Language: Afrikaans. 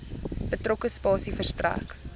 betrokke spasie verstrek